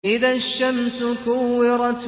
إِذَا الشَّمْسُ كُوِّرَتْ